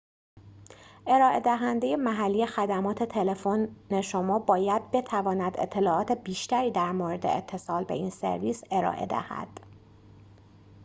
ارائه دهنده محلی خدمات تلفن شما باید بتواند اطلاعات بیشتری در مورد اتصال به این سرویس ارائه دهد